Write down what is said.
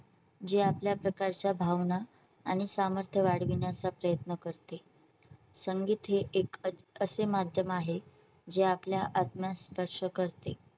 जे आपल्या प्रकारच्या भावना आणि सामर्थ्य वाढविण्याचा प्रयत्न करते. संगीत हे एक असे माध्यम आहे जे आपल्या आत्म्यास स्पर्श करते.